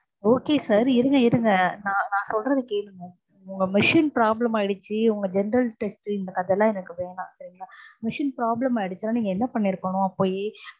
okay sir இருங்க இருங்க நா நான் சொல்றத கேளுங்க உங்க machineproblem ஆகிடுச்சு உங்க general test உ இந்த கதையெல்லான் எனக்கு வேணான் சரிங்கலா machine problem ஆகிடுச்சுனா நீங்க என்ன பண்ணிருக்கனும் போய்